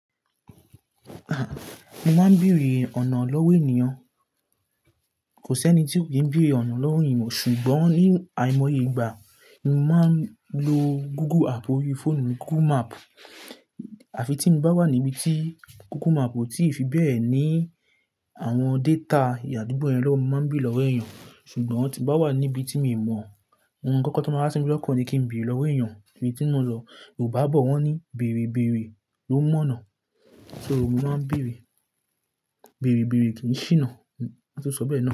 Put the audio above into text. Aha! Mo máa ń bèrè ọ̀nà lọ́wọ́ ènìyàn. Kò sí ẹni tí ò kí ń bèrè ọ̀nà lọ́wọ́ ènìyàn mọ̀, ṣùgbọ́n ní àìmọye ìgbà, mo máa ń lo Google app ori fóònù mi, Google Map. Àfi tí mo bá wà níbi tí Google Map ò tíì fi bẹ́ẹ̀ ní àwọn data ìyàdúgbò yẹn lọ́wọ́, mo máa ń bèrè lọ́wọ́ ènìyàn. Ṣùgbọ́n tí mo bá wà níbi tí mi mọ̀, àwọn kankan tó máa ń rántí mi lọ́kàn ni kí n bèrè lọ́wọ́ ènìyàn. Ibi tí mo lọ ò bá bọ̀ wọ́n ní "bẹ̀rẹ̀ bẹ̀rẹ̀" ló mọ̀nà. So mo máa ń bèrè, "bẹ̀rẹ̀ bẹ̀rẹ̀" kì í ṣíná, tó sọ bẹ́ẹ̀ ni.